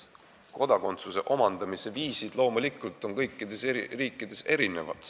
Kodakondsuse omandamise viisid on loomulikult kõikides riikides erinevad.